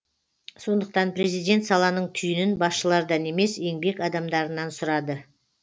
сондықтан президент саланың түйінін басшылардан емес еңбек адамдарынан сұрады